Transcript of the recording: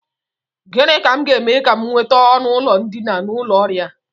Gịnị ka m ga-eme ka m nweta ọnụụlọ ndina n'ụlọ oriri a?